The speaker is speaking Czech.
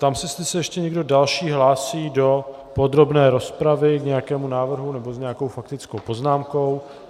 Ptám se, jestli se ještě někdo další hlásí do podrobné rozpravy k nějakému návrhu nebo s nějakou faktickou poznámkou.